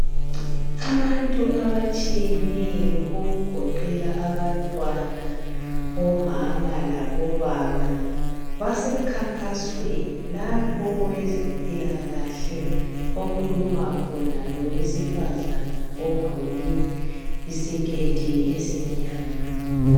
Abantu abatshiyeneyo okugoqela abantwana, omama labobaba, basemkhankasweni lapho owezempilakahle okhuluma khona lowesifazana ogqoke isiketi esimnyama.